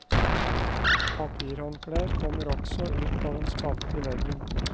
Papirhåndklær kommer også ut av en spalte i veggen.